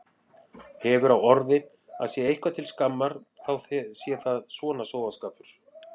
Hefur á orði að sé eitthvað til skammar þá sé það svona sóðaskapur.